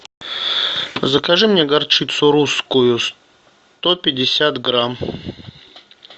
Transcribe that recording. закажи мне горчицу русскую сто пятьдесят грамм